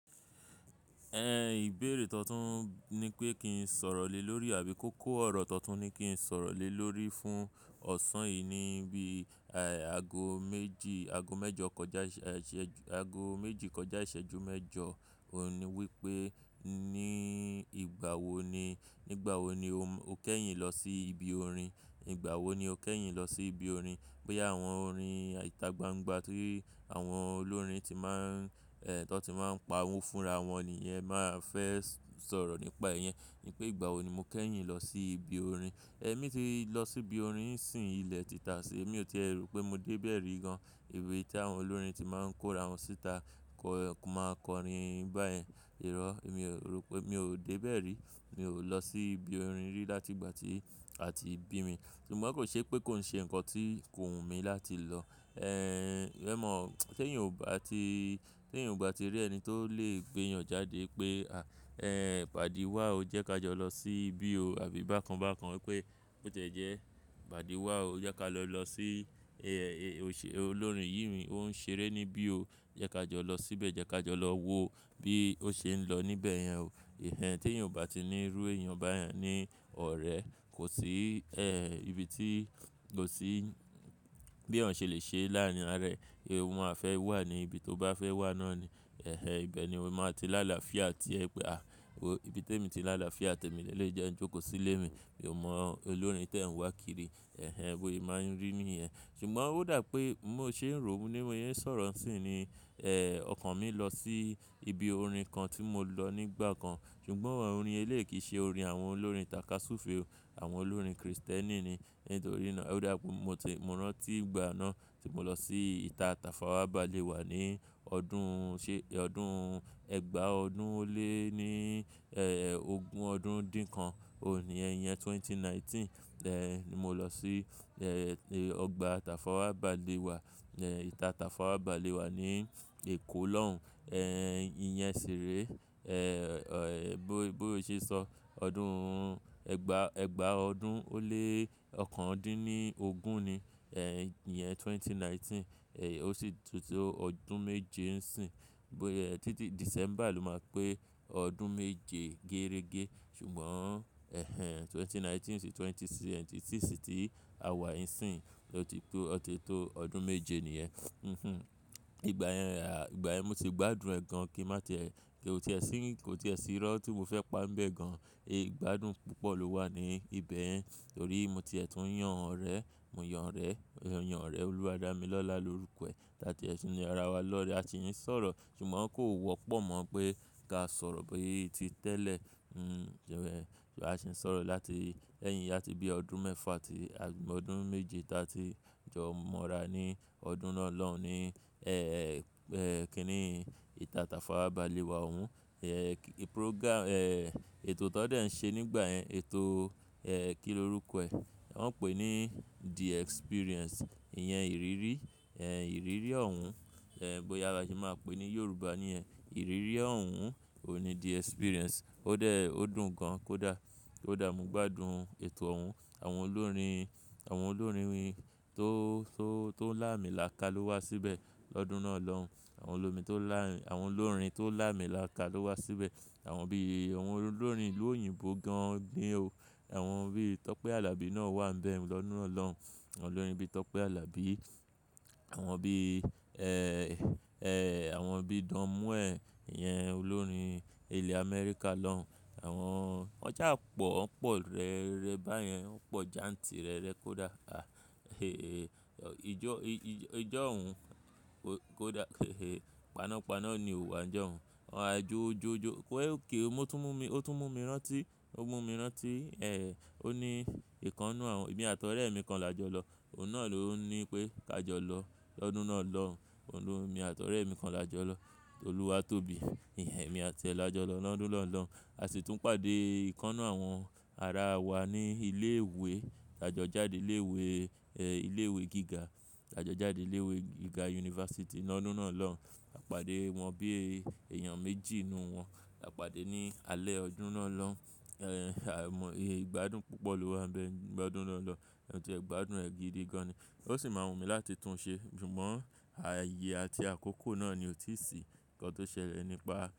Mìbéèrè tuntun ni pé kí n sọ̀rọ̀ lé lórí àbí kókó ọ̀rọ̀ tuntun ni kí n sọ̀rọ̀ lé lórí fún ọ̀sán yìí ni bí i ago méjì, ago mẹ́jọ kọjá, ago méjì kọjá ìṣẹ́jú mẹ́jọ òní wípé ní ìgbà wo ni, nígbà wo ni o kẹ́yìn lọ sí ibi orin? Nígbà wo ni o kẹ́yìn lọ sí ibi orin? Boya àwọn orin itagbangba ti àwọn olórin ti máa ń, tọ ti máa ń pa owó fúnra wọn ni ìyẹn máa fẹ́ sọ̀rọ̀ nípa ìyẹn. Ní pé ìgbà wo ni mo kẹ́yìn lọ sí ibi orin? Ẹ̀mí ti lọ sí ibi orin sìn ilẹ̀ títà sí i, èmi ò ti ro pé mo dé bẹ̀ rí gan. Ibi tí àwọn olórin ti máa ń kóra wọn síta kọ́ máa kọrin báyẹn. Irọ́, èmi ò ro pé, mi ò dé bẹ̀ rí. Mi ò lọ sí ibi orin rí láti ìgbà tí a ti bí mi. Ṣùgbọ́n kò ṣe pé kó ń ṣe ǹkan tí kò wù mí láti lọ. Ẹ̀ mọ̀, ti eyan o bá ti, ti eyan o bá ti rí ẹni tó lè gbéyàn jáde pé, "À, ẹ pàdí wa o, jẹ́ ka jọ lọ sí ibi o" àbí bákan bákan wípé bó tẹ́ jẹ́, "Pàdí wa o, jẹ́ ká lọ lọ sí olórin yìí o n ṣeré níbí o. Jẹ́ ka jọ lọ síbẹ̀, jẹ́ ka jọ lọ wo bí ó ṣe ń lọ níbẹ̀ yẹn o." Ehnehn tí ènìyàn ò bá ti nírú èèyàn báyẹn ní ọ̀rẹ́, kò sí ìbí tí kò sí bí èèyàn ṣe lè ṣe láàrin arẹ. Òun a fẹ́ wà ní ibi tó bá fẹ́ wà náà ni. Ẹ̀hẹn ibẹ̀ ni òun máa ti láàlà fía tì ẹ pé, "À, ibi tí èmi ti láàlà fía tì ẹ́ mi lèleyi jẹ́ n jókòó sí ilé mi. Mi ò mọ olórin tí ẹ̀ ń wá kiri." Ẹ̀hẹn bọ̀se máa ń rí ní ìyẹn. Ṣùgbọ́n ó dà pé mó ṣe ń rò wípé mo yíì sọ̀rọ̀ sí ni ọkàn mi lọ sí ibi orin kan tí mo lọ nígbà kan. Ṣùgbọ́n orin eléyi ki ṣe orin àwọn olórin tàka súùfe o. Àwọn olórin kìrìsìtẹ́nì ni. Nítorí náà ó dà pé mo ti mọ̀ran tí ìgbà náà tí mo lọ sí ìta tàfàwà bálewà ní ọdún ṣe ọdún ẹgbàá ọdún ó lé ní ogún ọdún dín kan òní ẹ̀yẹn ẹgbẹ̀rún méjì ó lé mọ́kàndínlógún. Ni mo lọ sí ọgbà tàfàwà báléwà, ìta tàfàwà báléwà ní Èkó lọ́hùn. Ìyẹn ṣiré. Bó ṣe sọ, ọdún ẹgbàá ọdún ó lé ọ̀kan din ní ogún ni ẹ̀yẹn ẹgbẹ̀rún méjì ó lé mọ́kàndínlógún. Ó sì tó ọdún méje ń sìn. Títí December ló máa pé ọdún méje gẹ́rẹ́gẹ́. Ṣùgbọ́n ẹ̀hẹn ẹgbẹ̀rún méjì ó lé mọ́kàndínlógún sì ẹgbẹ̀rún méjì ó lé mẹ́rìndínlọ́gbọ̀n sì ti awa ń sìn. O ti tó ọdún méje nìyẹn. Hmh. Ìgbà yẹn, ìgbà yẹn mo ti gbádùn ẹ́ gan kó ti ẹ sì rọ́ tí mo fẹ́ pańbẹ̀ gan. Igbádùn púpọ̀ ló wà ní ibẹ̀yen. Torí mo ti ẹ tún yàn ọ̀rẹ́, mo yàn orẹ̀, yàn ọ̀rẹ́ olúwa dà mí lọ́la lórúkọ ẹ. Ta tie tun yan ra wa lọ́rẹ́, a ti ń sọ̀rọ̀. Ṣùgbọ́n kò wọ́pọ̀ mọ̀ pé ká sọ̀rọ̀ bí i ti tẹ́lẹ̀. A sì ń sọ̀rọ̀ láti ẹ̀yìn yátì bí ọdún mẹ́fà tí ọdún méje ta tí jọ mọ́ra ní ọdún náà lọ́hùn ní kíní ìta tàfàwà báléwa òun. Program, ètò tọ́ dẹ̀ ń ṣe nígbà yẹn, ètò kí ni orúkọ ẹ? Wọ́n ń pè ní The Experience. Iyẹn ìrírí, ẹ̀ ìrírí ọ̀hún. Bóyá ba se máa pè ní Yorùbá ní ẹ̀ ìrírí ọ̀hún òní The Experience. Ó dẹ̀ ọ́dùn gan, kó dà. Kodà mo gbádùn ètò ọ̀hún. Àwọn olórin, àwọn olórin tó ń là mi là ká ló wá síbẹ̀ lọ́dún náà lọ́hùn. Àwọn olórin tó ń là mi là ká ló wá síbẹ̀. Àwọn bí i àwọn olórin ìlú òyìnbó gan ni o. Àwọn bí i Tọ́pẹ́ Alabi náà wà ń bẹ lọ́dún náà lọ́hùn. Àwọn olórin bí i Tọ́pẹ́ Alabi. Àwọn bí i, àwọn bí i Don Moen, iyẹn olórin ilẹ̀ Amẹ́ríkà lọ́hùn. Àwọn won sapọ̀, wọ́n pọ̀ rẹ́rẹ́ báyẹn. Wọ́n pọ̀ janti rẹ́rẹ́ kó dà. A èé ijọ ọ̀hún kó dà. Panápaná ni ìhùwà jọ ọ̀hún. A jo jo jo. Kí ó mú tú mú mi, ó tú mú mi rántí, ó mú mi rántí ó ní ìkannú àwọn, èmi àti ọ̀rẹ́ mi kan la jọ lọ. Òun náà ló ń ní pé ká jọ lọ lọ́dún náà lọ́hùn. Òun ló mi àti ọ̀rẹ́ mi kan la jọ lọ. Olúwa tó bí i. Ẹ̀hẹn èmi àti ẹ lọ́jọ́ lọ lọ́dún náà lọ́hùn. A sì tún pàdé ìkannú àwọn ara wa ní ilé ìwé. A jọ jáde ilé ìwé, ilé ìwé gíga. A jọ jáde ilé ìwé gíga University lọ́dún náà lọ́hùn. A pàdé wọn bí èèyàn méjì inú wọn. A pàdé ní alẹ́ ọdún náà lọ́hùn. Ẹ̀ a mọ̀, igbádùn púpọ̀ ló wà ń bẹ. Gbádùn náà lọ́hùn. Ẹ ti ẹ̀ gbádùn ẹ́ gidi gan ni. Ó sì máa wù mí láti tún un ṣe. Ṣùgbọ́n ààyè àti àkókò náà ni ó ti sí. Ǹkan tó ṣẹlẹ̀ nípa.